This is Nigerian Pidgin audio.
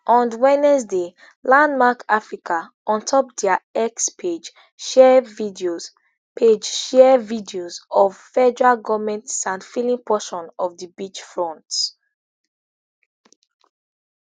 on wednesday landmark africa ontop diax pageshare videos pageshare videos of federal goment sandfilling portion of di beach front